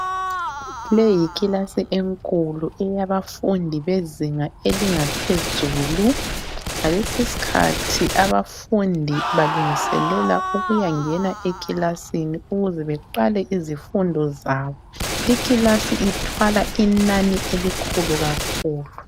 Leyi yikilasi enkulu eyabafundi bezinga elingaphezulu. Ngalesiskhathi ,abafundi balungiselela ukuyangena ekilasini ukuzebeqale izifundo zabo. Ikilasi lithwala inani elikhulu kakhulu.